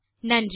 நன்றி